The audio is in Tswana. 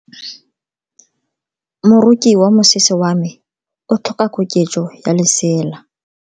Moroki wa mosese wa me o tlhoka koketso ya lesela.